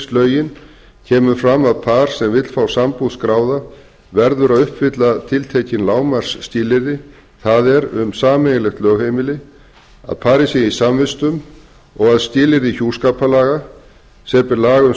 lögheimilislögin kemur fram að par sem vill fá sambúð skráða verður að uppfylla tiltekin lágmarksskilyrði það er um sameiginlegt lögheimili að parið sé í samvistum og að skilyrði hjúskaparlaga samanber laga um